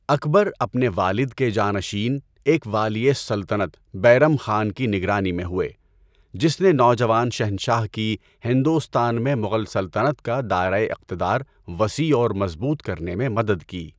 اکبر اپنے والد کے جانشین ایک والیٔ سلطنت بیرم خان کی نگرانی میں ہوئے، جس نے نوجوان شہنشاہ کی ہندوستان میں مغل سلطنت کا دائرۂ اقتدار وسیع اور مضبوط کرنے میں مدد کی۔